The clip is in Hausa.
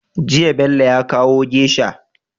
Jiya Bello ya kawo geisha